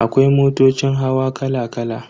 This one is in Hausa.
Akwai motocin hawa kala kala.